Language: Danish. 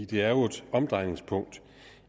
det er jo et omdrejningspunkt